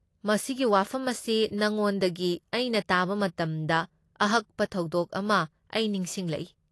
ꯃꯁꯤꯒꯤ ꯋꯥꯐꯝ ꯑꯁꯤ ꯅꯉꯣꯟꯗꯒꯤ ꯑꯩꯅ ꯇꯥꯕ ꯃꯇꯝꯗ ꯑꯍꯛꯄ ꯊꯧꯗꯣꯛ ꯑꯃ ꯑꯩ ꯅꯤꯁꯤꯡꯂꯛꯏ꯫